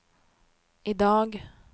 idag